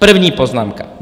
První poznámka.